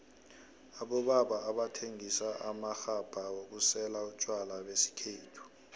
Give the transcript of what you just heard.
abobaba abathengisa amaxhabha wokusela utjwala besikhethu